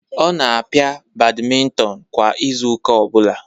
Ọ na-pia badminton kwa izu ụka ọ bụla